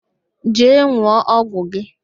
Jee n̄ụọ ọgwụ gị!